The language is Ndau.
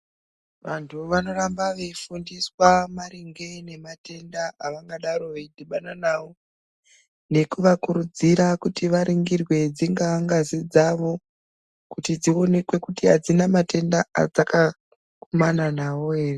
Vantu vanoramba veifundiswa maringe ngematenda avangadaro veidhibana nawo neku vakurudzira kuti varingirwe dzingaa ngazi dzavo kuti dzionekwe kuti hadzina matenda adzaka gumana nawo ere.